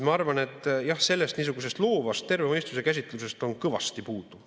Ma arvan, jah, et niisugusest loovast terve mõistuse käsitlusest on kõvasti puudu.